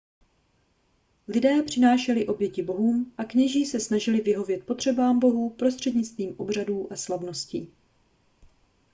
lidé přinášeli oběti bohům a kněží se snažili vyhovět potřebám bohů prostřednictvím obřadů a slavností